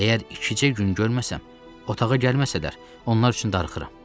Əgər ikicə gün görməsəm, otağa gəlməsələr, onlar üçün darıxıram.